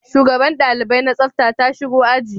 Shugaban dalibai na tsafta ta shigo a ji?